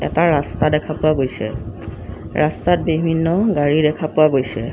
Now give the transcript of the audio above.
এটা ৰাস্তা দেখা পোৱা গৈছে ৰাস্তাত বিভিন্ন গাড়ী দেখা পোৱা গৈছে।